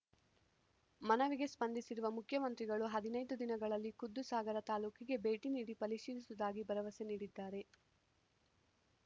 ಮನವಿಗೆ ಸ್ಪಂದಿಸಿರುವ ಮುಖ್ಯಮಂತ್ರಿಗಳು ಹದಿನೈದು ದಿನಗಳಲ್ಲಿ ಖುದ್ದು ಸಾಗರ ತಾಲೂಕಿಗೆ ಭೇಟಿ ನೀಡಿ ಪರಿಶೀಲಿಸುವುದಾಗಿ ಭರವಸೆ ನೀಡಿದ್ದಾರೆ